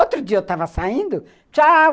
Outro dia eu estava saindo, tchau,